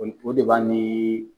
O o de b'a nii